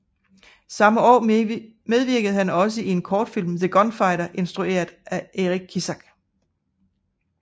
Samme år medvirkede han også i en kortfilm The Gunfighter instrueret af Eric Kissack